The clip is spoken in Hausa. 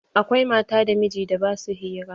Akwai mata da mijin da ba sua hira.